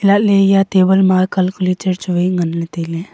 atle ya table ma calculater chuwai ngan le taile.